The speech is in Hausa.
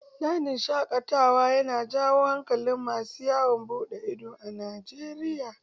Dajin shaƙatawa na jawo hankalin masu yawon buɗe ido a Najeriya.